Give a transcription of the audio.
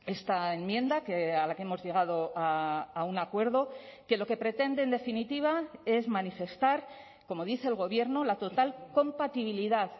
esta enmienda a la que hemos llegado a un acuerdo que lo que pretende en definitiva es manifestar como dice el gobierno la total compatibilidad